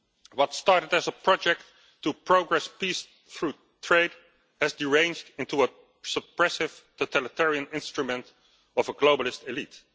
What started as a project to progress peace through trade has deranged into a suppressive, totalitarian instrument of a globalist elite.